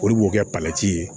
Olu b'o kɛ palan ci ye